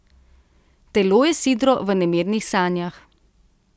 Telo je sidro v nemirnih sanjah.